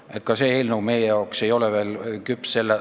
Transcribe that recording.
See tänane eelnõu ei ole meie arvates veel küps.